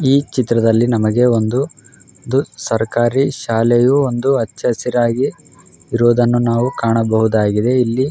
ಈ ಚಿತ್ರದ್ಲಲಿ ನಮಗೆ ಒಂದು ಸರಕಾರಿ ಶಾಲೆಯು ಹಚ್ಚ ಹಸಿರಾಗಿ ಇರುವುದನ್ನು ನಾವು ಕಾಣಬಹುದಾಗಿದೆ ಇಲ್ಲಿ --